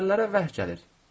Peyğəmbərlərə vəhy gəlir.